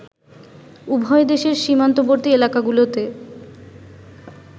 উভয় দেশের সীমান্তবর্তী এলাকাগুলোতে